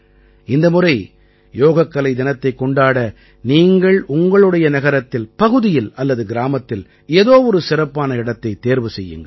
இந்த முறை யோகக்கலை தினத்தைக் கொண்டாட நீங்கள் உங்களுடைய நகரத்தில் பகுதியில் அல்லது கிராமத்தில் ஏதோ ஒரு சிறப்பான இடத்தைத் தேர்வு செய்யுங்கள்